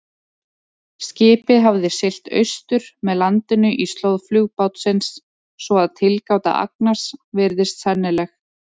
Skipið hafði siglt austur með landinu í slóð flugbátsins, svo að tilgáta Agnars virðist sennileg.